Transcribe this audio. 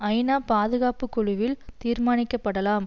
ஐநா பாதுகாப்பு குழுவில் தீர்மானிக்கப்படலாம்